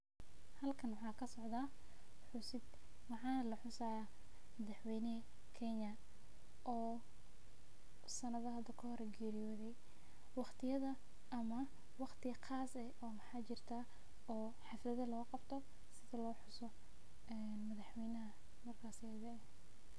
Xalkan waxa kasocda, xusiid waxa laxusixayaa, madaxweyni kenya, oo sanada xada kahor qeriyode, wagtiya ama wagti qaas eh o maxaa jirta oo haflada oo logabto sidha loxuso ee madaxweynaxa markasii.